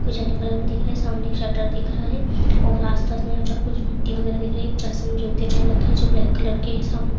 कुछ yellow colour में दिख रहे है सामने एक शटर दिख रहा है और आसपास में यहाँ पर कुछ मिट्टी वगेरा दिख रही है एक पर्सन जूते पहन रखे है जो ब्लैक कलर के है सामने --